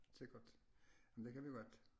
Sikkert men det kan vi godt